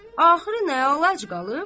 Axırı nə əlac qalıb?